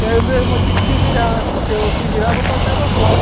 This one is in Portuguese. E aí o meu irmão tinha que se virar, porque ou se virava ou passava fome.